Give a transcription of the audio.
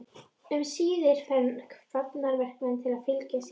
Um síðir fær hún hafnarverkamann til að fylgja sér.